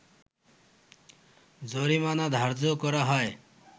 জরিমানা ধার্য করা হয়